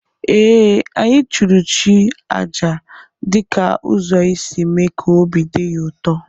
Ee, anyị chụụrụ chi aja dị ka ụzọ isi mee ka obi dị ya ụtọ